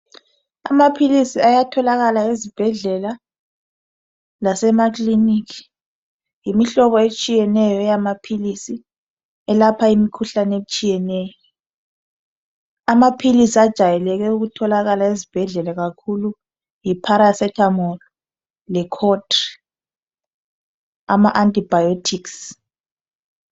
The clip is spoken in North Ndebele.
Amaphilisi ayatholakala ezibhedlela lasemakiliki yimihlobo etshiyeneyo yamaphisi eyelapha imkhuhlane etshiyeneyo amaphilisi ajayeleke ukutholakala esibhedlela kakhulu yiparacetamol lecontri ama antibiotics